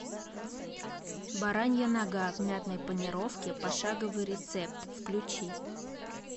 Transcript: баранья нога в мятной панировке пошаговый рецепт включи